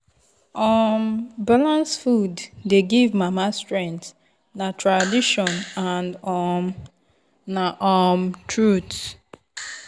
um balanced food dey give mama strength na tradition and um na um truth.